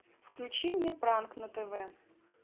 включи мне пранк на тв